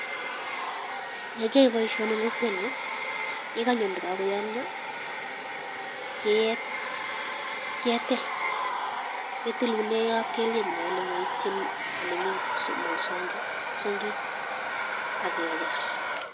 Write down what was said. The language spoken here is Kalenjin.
Ee kiyae boisioni eng kokwenyu kikanye ndakakoyomio ketil, kitilune kapkelien yo ole maitini olemi psongik akekes.